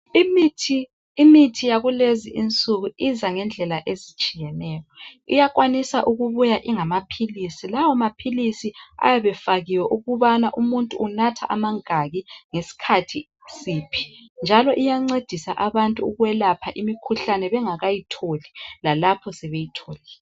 Imithi yakulezinsuku iza ngendlela ezitshiyeneyo. Iyakwanisa ukubuya ingamaphilisi lawa maphilisi ayabe efakiwe ukubana umuntu unatha amangaki ngesikhathi siphi. Njalo iyancedisa ukwelapha abantu imikhuhlane nxa sebeyitholile lalapho bengakayitholi.